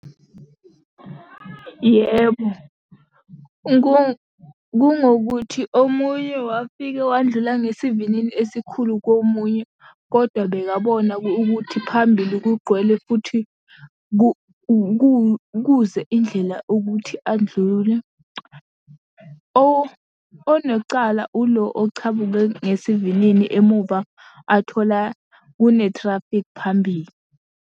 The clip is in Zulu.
Yebo, kungukuthi omunye wafike wandlula ngesivinini esikhulu komunye, kodwa bekabona ukuthi phambili kugcwele futhi ukuze indlela ukuthi andlule. Onecala ulo ochamuke ngesivinini emuva athola kunethrafikhi phambili.